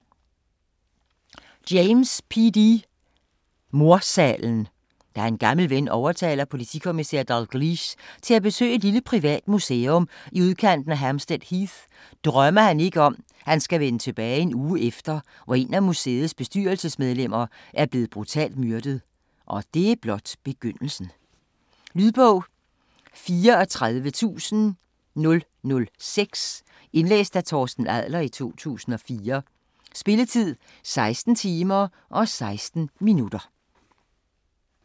James, P. D.: Mordsalen Da en gammel ven overtaler politikommissær Dalgliesh til at besøge et lille privat museum i udkanten af Hampstead Heath drømmer han ikke om at han skal vende tilbage en uge efter, hvor en af museets bestyrelsesmedlemmer er blevet brutalt myrdet - og det er blot begyndelsen. Lydbog 34006 Indlæst af Torsten Adler, 2004. Spilletid: 16 timer, 16 minutter.